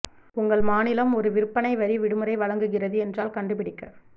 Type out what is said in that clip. உங்கள் மாநிலம் ஒரு விற்பனை வரி விடுமுறை வழங்குகிறது என்றால் கண்டுபிடிக்க